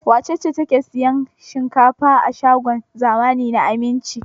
Wace ce take sayan shinkafa a shagon zamani na Aminci?